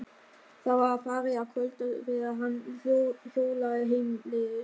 Það var farið að kvölda þegar hann hjólaði heimleiðis.